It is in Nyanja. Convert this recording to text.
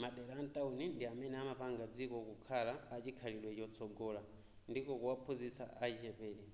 madera a mtawuni ndi amene amapanga dziko kukhala a chikhalidwe chotsogola ndiko kuwaphunzitsa achichepere